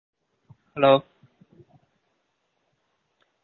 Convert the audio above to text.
hello